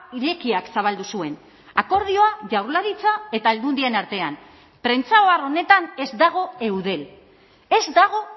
irekiak zabaldu zuen akordioa jaurlaritza eta aldundien artean prentsa ohar honetan ez dago eudel ez dago